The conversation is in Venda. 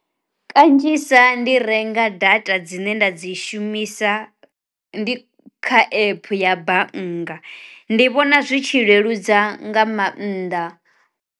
Kanzhisa ndi renga data dzine nda dzi shumisa ndi kha epe ya bannga, ndi vhona zwi tshi leludza nga mannḓa.